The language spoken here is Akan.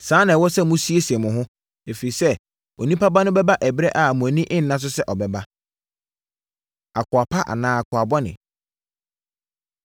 saa ara na ɛwɔ sɛ mosiesie mo ho, ɛfiri sɛ Onipa Ba no bɛba ɛberɛ a mo ani nna so sɛ ɔbɛba. Akoa Pa Anaa Akoa Bɔne